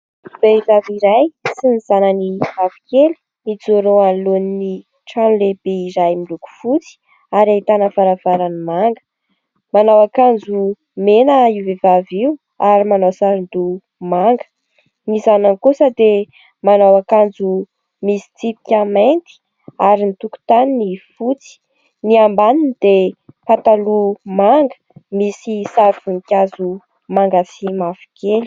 Vehivavy iray sy ny zanany vavy kely, mijoro eo anoloan'ny trano lehibe iray miloko fotsy ary ahitana varavarana manga. Manao akanjo mena io vehivavy io ary manao saron-doha manga. Ny zanany kosa dia manao akanjo misy tsipika mainty ary ny tokotaniny fotsy. Ny ambaniny dia pataloha manga, misy sary voninkazo manga sy mavokely.